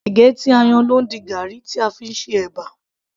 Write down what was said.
ẹ̀gẹ́ tí a yan ló ń di garri tí a fí ń ṣe ẹ̀bà